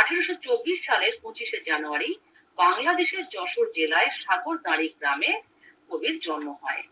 আঠারোশো চব্বিশ সালের পঁচিশে জানুয়ারী বাংলাদেশের যশোদ জেলায় স্বাগতাড়িই গ্রামে কবির জন্ম হয়